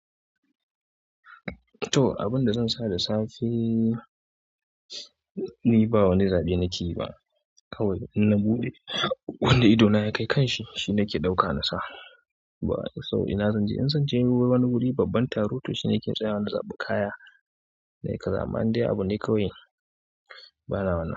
To, abin da zan sa da safe ni ba wani zaɓe nake yi ba kawai in na buɗe wanda idona ya kai kanshi shine nake ɗauka na sa. Ba wani sauri, in zan je wani wuri babban taro to shine nake tsayawa na zaɓi kaya. Amma indai abu ne kawai bana wannan.